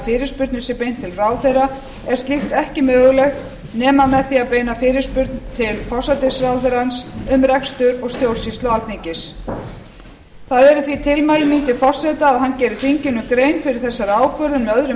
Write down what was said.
fyrirspurnum sé beint til ráðherra er slíkt ekki mögulegt nema með því að beina fyrirspurn til forsætisráðherrans um rekstur og stjórnsýslu alþingis það eru því tilmæli mín til forseta að hann geri þinginu grein fyrir þessari ákvörðun með öðrum